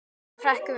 Hann hrekkur við.